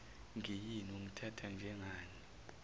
ngiyini ungithatha njengani